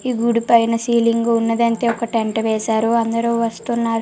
గూడు పైన సీలింగ్ వున్నది అయితే ఒక టెంట్ వేసేరు అందరు వస్తున్నారు--